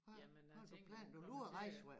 Jamen jeg tænkte at jeg ville komme til at